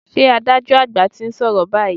Ṣé adájọ́ àgbà ti ń sọ̀rọ̀ báyìí?